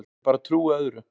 Ég bara trúi öðru.